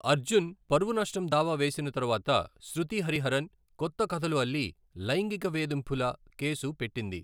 అర్జున్ పరువు నష్టం దావా వేసిన తర్వాత శృతి హరిహరన్ కొత్త కథలు అల్లి లైంగిక వేధింపుల కేసు పెట్టింది.